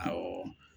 Awɔ